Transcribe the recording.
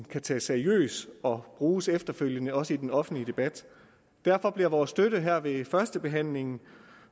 kan tages seriøst og bruges efterfølgende i også den offentlige debat derfor bliver vores støtte her ved førstebehandlingen